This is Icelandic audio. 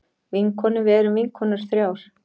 Vinkonur við erum vinkonur þrjár.